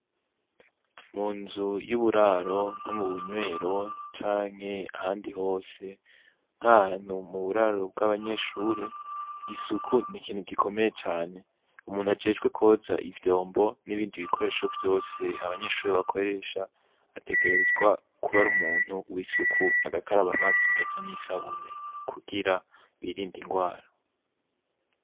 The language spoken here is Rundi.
Mu nzu y'uburaro nko mu bunywero canke ahandi hose nkahanu mu buraro bw'abanyeshure isuku ni ikintu gikomeye cane umuntu ajejwe koza ivyombo n'ibindi bikoresho vyose abanyeshure bakoresha ategerezwa kuba ari umuntu w'isuku akaraba amazi meza n'isabune kugira birinda ingwara.